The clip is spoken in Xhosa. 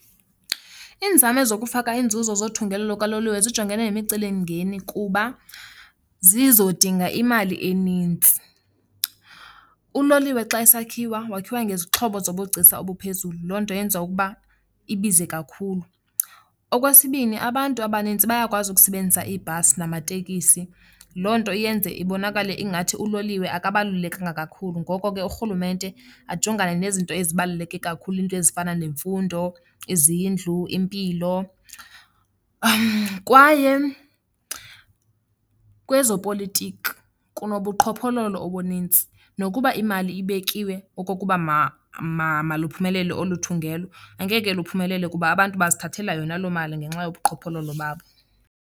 Iinzame zokufaka inzuzo zothungelo lukaloliwe zijongene nemicelimngeni kuba zizodinga imali enintsi. Uloliwe xa esakhiwa wakhiwa ngezixhobo zobugcisa obuphezulu, loo nto yenza ukuba ibize kakhulu. Okwesibini, abantu abanintsi bayakwazi ukusebenzisa iibhasi matekisi, loo nto yenze ibonakale ingathi uloliwe akubalulekanga kakhulu. Ngoko ke urhulumente ajongane nezinto ezibaluleke kakhulu, iinto ezifana nemfundo, izindlu, impilo. Kwaye kwezopolitiko kunobuqhophololo obunintsi, nokuba imali ibekiwe okokuba maluphumele olu thungelo angeke luphumelele kuba abantu bazithathela yona loo mali ngenxa yobuqhophololo babo.